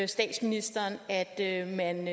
statsministeren at at man